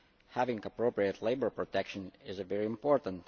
Having appropriate labour protection is very important.